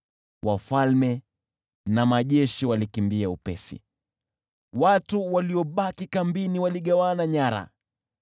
“Wafalme na majeshi walikimbia upesi, watu waliobaki kambini waligawana nyara.